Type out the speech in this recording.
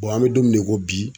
an be don min na i ko bi